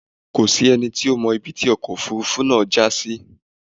Kò sí ẹni tí ó mọ ibi tí ọkọ̀ Òfurufú náà já sí.